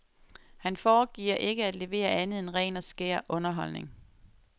Han foregiver ikke at levere andet end ren og skær underholdning.